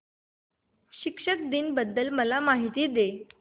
शिक्षक दिन बद्दल मला माहिती दे